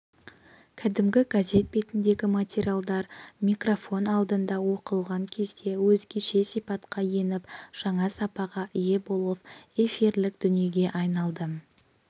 кәдімгі газет бетіндегі материалдар микрофон алдында оқылған кезде өзгеше сипатқа еніп жаңа сапаға ие болып эфирлік дүниеге айналды